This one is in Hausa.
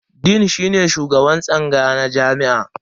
Dean shine shugaban tsangaya na jami'a.